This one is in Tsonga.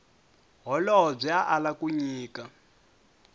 holobye a ala ku nyika